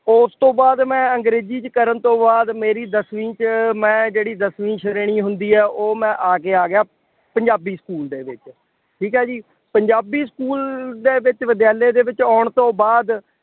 ਉਸ ਤੋਂ ਬਾਅਦ ਮੈਂ ਅੰਗਰੇਜ਼ੀ ਚ ਕਰਨ ਤੋਂ ਬਾਅਦ ਮੇਰੀ ਦਸਵੀਂ ਚ ਮੈਂ ਜਿਹੜੀ ਦਸਵੀਂ ਸ਼੍ਰੇਣੀ ਹੁੰਦੀ ਹੈ ਉਹ ਮੈਂ ਆ ਕੇ ਆ ਗਿਆ, ਪੰਜਾਬੀ ਸਕੂਲ ਦੇ ਵਿੱਚ, ਠੀਕ ਹੈ ਜੀ, ਪੰਜਾਬੀ ਸਕੂਲ ਦੇ ਵਿੱਚ ਵਿਦਿਆਲਿਆਂ ਦੇ ਵਿੱਚ ਆਉਣ ਤੋਂ ਬਾਅਦ